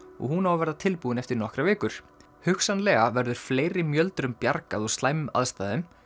og hún á að verða tilbúin eftir nokkrar vikur hugsanlega verður fleiri bjargað úr slæmum aðstæðum